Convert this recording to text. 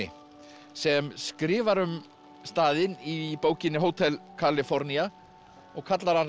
sem skrifar um staðinn í bókinni Hótel Kalifornía og kallar hann reyndar